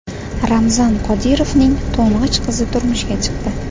Ramzan Qodirovning to‘ng‘ich qizi turmushga chiqdi.